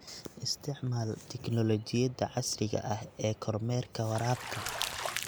Isticmaal tignoolajiyada casriga ah ee kormeerka waraabka.